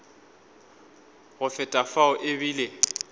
go feta fao e bile